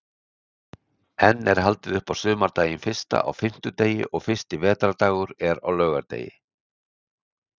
Enn er haldið upp á sumardaginn fyrsta á fimmtudegi og fyrsti vetrardagur er á laugardegi.